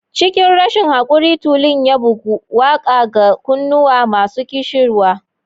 Cikin rashin haquri, tulun ya bugu, waƙa ga kunnuwa masu ƙishirwa.